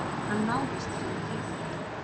Hann náðist fyrir tilviljun